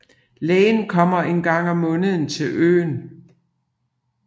Lægen kommer en gang om måneden til øen